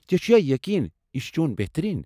ژے٘ چھُیا یقین یہِ چُھ چون بہتریٖن؟